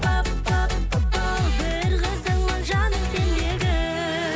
пап пап папау бір қызыңмын жаным сендегі